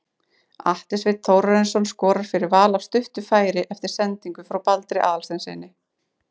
Atli Sveinn Þórarinsson skorar fyrir Val af stuttu færi eftir sendingu frá Baldri Aðalsteinssyni.